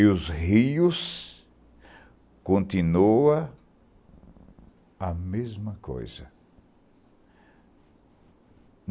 E os rios continua a mesma coisa.